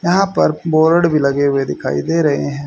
यहां पर बोर्ड भी लगे हुए दिखाई दे रहे हैं।